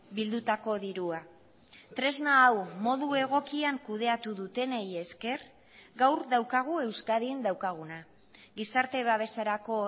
bildutako dirua tresna hau modu egokian kudeatu dutenei esker gaur daukagu euskadin daukaguna gizarte babeserako